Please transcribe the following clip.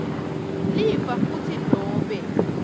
lifa futsi nobe